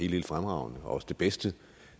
helt fremragende og også det bedste